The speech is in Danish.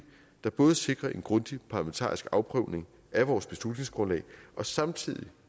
der både sikrer en grundig parlamentarisk afprøvning af vores beslutningsgrundlag og samtidig